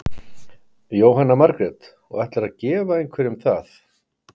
Jóhanna Margrét: Og ætlarðu að gefa einhverjum það?